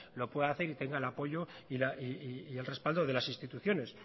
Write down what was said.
lo pueda hacer y tenga el apoyo y el respaldo de las instituciones